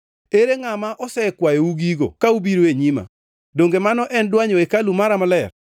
Ere ngʼama osekwayou gigo ka ubiro e nyima, donge mano en dwanyo hekalu mara maler.